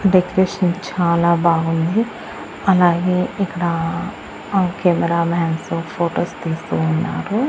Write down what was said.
Decoration చాలా బాగుంది అలాగే ఇక్కడా ఆ కెమెరామాన్స్తో ఫొటోస్ తీస్తూ ఉన్నారు.